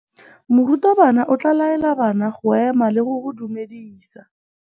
Morutabana o tla laela bana go ema le go go dumedisa.